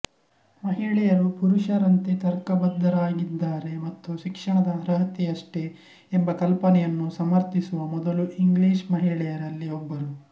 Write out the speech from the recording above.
ಮಹಿಳೆಯರು ಪುರುಷರಂತೆ ತರ್ಕಬದ್ಧರಾಗಿದ್ದಾರೆ ಮತ್ತು ಶಿಕ್ಷಣದ ಅರ್ಹತೆಯಷ್ಟೇ ಎಂಬ ಕಲ್ಪನೆಯನ್ನು ಸಮರ್ಥಿಸುವ ಮೊದಲ ಇಂಗ್ಲಿಷ್ ಮಹಿಳೆಯರಲ್ಲಿ ಒಬ್ಬರು